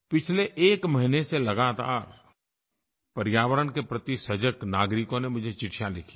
पिछले एक महीने से लगातार पर्यावरण के प्रति सजग नागरिकों ने मुझे चिट्ठियाँ लिखी हैं